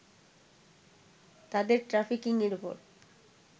তাদের ট্রাফিকিংয়ের ওপর